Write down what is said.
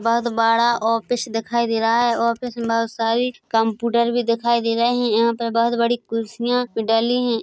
बहुत बड़ा ऑफिस दिखाई दे रहा हैऑफिस में बहुत सारी कमपुटर भी दिखाई दे रहे है यहाँ पे बहुत बड़ी कुर्सियां भी डली है ।